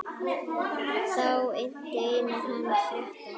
Þá innti Einar hann frétta.